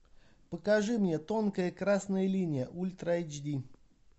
покажи мне тонкая красная линия ультра эйч ди